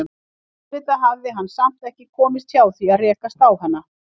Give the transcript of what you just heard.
Auðvitað hafði hann samt ekki komist hjá því að rekast á hana.